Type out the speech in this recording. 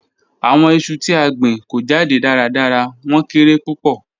Awọn iṣu ti a gbin ko jade daradara, wọn kere pupọ.